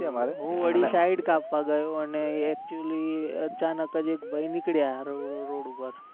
એ side કાપવ ગયો ને actually અચાનક જ એક ભાઈ નીકળ્યા રોડ ઉપર